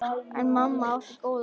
En mamma átti góða að.